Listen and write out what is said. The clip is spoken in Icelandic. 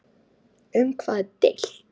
Um hvað er deilt?